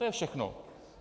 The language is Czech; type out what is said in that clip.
To je všechno.